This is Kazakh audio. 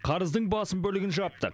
қарыздың басым бөлігін жаптық